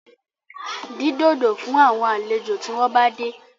Dín dòdò fún àwọn àlejò tí wọ́n bá dé